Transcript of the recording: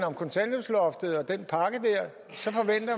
om kontanthjælpsloftet og den